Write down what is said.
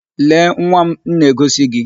Lee nwa m na-egosi gi!